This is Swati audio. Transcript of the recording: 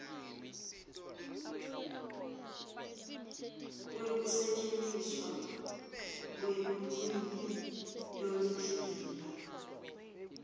kwekusetjentiswa kwelulwimi lolujulile